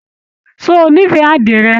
Ṣé o n'ifẹ àdirẹ?